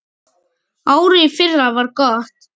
Árið í fyrra var gott.